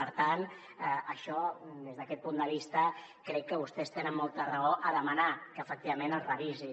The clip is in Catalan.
per tant des d’aquest punt de vista crec que vostès te·nen molta raó a demanar que efectivament es revisi